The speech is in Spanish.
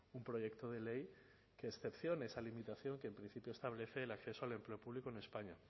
un proyecto de ley que excepcione esa limitación que en principio establece el acceso al empleo público en españa